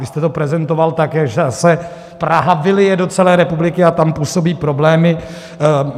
Vy jste to prezentoval tak, že se Praha vylije do celé republiky a tam působí problémy.